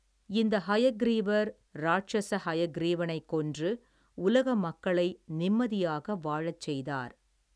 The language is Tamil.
இந்த ஹயக்கிரீவர் ராட்சஸ ஹயக்கிரீவனை கொன்று உலக மக்களை நிம்மதியாக வாழச்செய்தார்.